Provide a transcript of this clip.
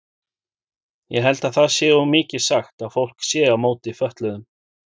Ég held það sé of mikið sagt að fólk sé á móti fötluðum.